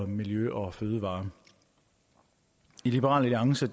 miljø og fødevarer i liberal alliance